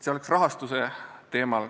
Nii palju rahastusest.